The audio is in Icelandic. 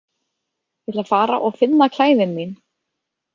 Ég ætla að fara og finna klæðin mín.